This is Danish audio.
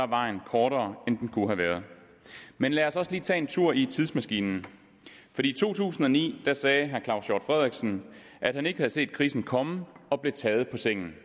vejen kortere end den kunne have været men lad os også lige tage en tur i tidsmaskinen i to tusind og ni sagde daværende claus hjort frederiksen at han ikke havde set krisen komme og blev taget på sengen